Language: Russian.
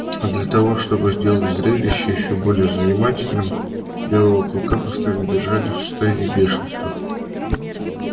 а для того чтобы сделать зрелище ещё более занимательным белого клыка постоянно держали в состоянии бешенства